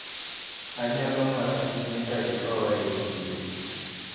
Anyalo mor ahinya kaikowa e chiro.